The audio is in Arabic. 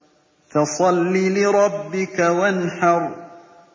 فَصَلِّ لِرَبِّكَ وَانْحَرْ